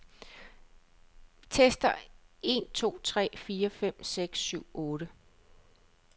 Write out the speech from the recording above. Tester en to tre fire fem seks syv otte.